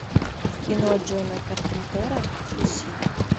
кино джона карпентера люси